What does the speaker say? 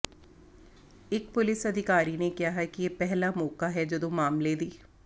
ਇਕ ਪੁਲਿਸ ਅਧਿਕਾਰੀ ਨੇ ਕਿਹਾ ਕਿ ਇਹ ਪਹਿਲਾ ਮੌਕਾ ਹੈ ਜਦੋਂ ਮਾਮਲੇ ਦੀ